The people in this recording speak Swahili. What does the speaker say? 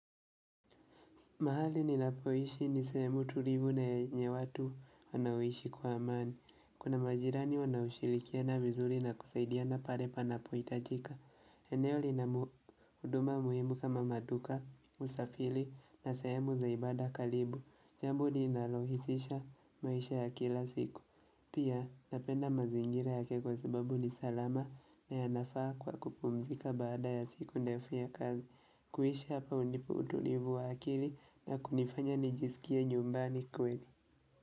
Mahali ninapoishi ni sehemu tulivu na yenye watu wanaoishi kwa amani. Kuna majirani wanaoshirikiana vizuri na kusaidiana pale panapo hitajika. Eneo lina huduma muhimu kama maduka, usafiri na sehemu za ibada karibu. Jambo linanalorahisisha maisha ya kila siku. Pia napenda mazingira yake kwasababu ni salama na yanafaa kwa kupumzika baada ya siku ndefu ya kazi. Kuishi hapa hunipa utulivu wa akili na kunifanya nijisikie nyumbani kweli.